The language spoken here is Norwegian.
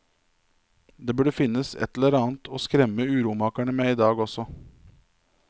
Det burde finnes et eller annet å skremme uromakerne med i dag også.